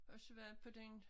Også været på den